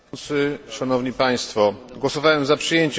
Głosowałem za przyjęciem sprawozdania Alexandra Alvaro.